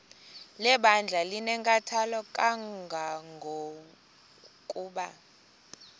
lebandla linenkathalo kangangokuba